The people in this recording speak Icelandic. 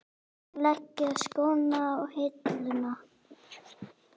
Leggja skóna á hilluna?